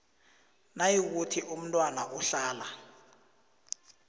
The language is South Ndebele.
nayikuthi umntwana uhlala